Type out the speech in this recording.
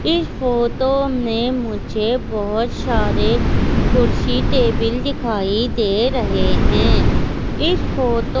इस फोतो में मुझे बहोत सारे कुर्सी टेबिल दिखाई दे रहें हैं इस फोतो --